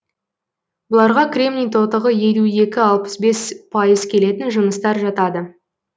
бұларға кремний тотығы елу екі алпыс бес пайыз келетін жыныстар жатады